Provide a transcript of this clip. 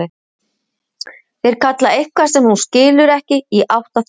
Þeir kalla eitthvað sem hún skilur ekki, í átt að þeim.